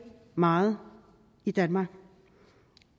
meget i danmark